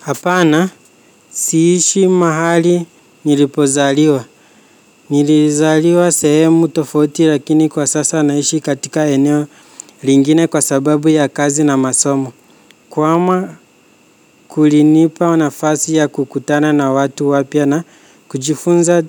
Hapana siishi mahali nilipozaliwa, nilizaliwa sehemu tofauti lakini kwa sasa naishi katika eneo ringine kwa sababu ya kazi na masomo. Kwama kulinipa nafasi ya kukutana na watu wapia na kujifunza